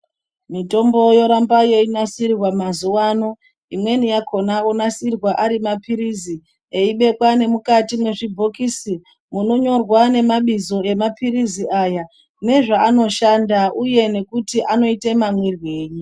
Mitombo yoramba yeinasirwa mazuwaano. Imweni yakhona onasirwa ari maphirizi, eibekwa ngemukati mwezvibhokisi. Munonyorwa nemabizo emaphirizi aya ,nezvaanoshanda uye nekuti anoite mamwirwei.